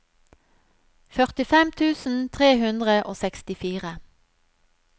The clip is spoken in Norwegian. førtifem tusen tre hundre og sekstifire